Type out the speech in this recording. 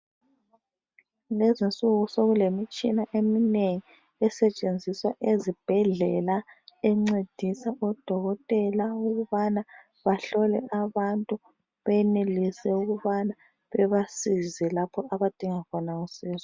Lezinsuku sekulemitshina eminengi esetshenziswa ezibhedlela encedisa odokotela ukubana bahlole abantu benelise ukubana bebasize lapho abadinga khona usizo.